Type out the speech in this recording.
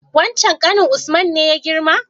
Wancen ƙanin usman ne ya girma?